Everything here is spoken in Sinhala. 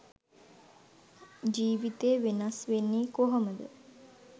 ජීවිතේ වෙනස් වෙන්නේ කොහොමද?